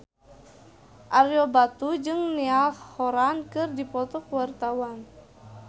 Ario Batu jeung Niall Horran keur dipoto ku wartawan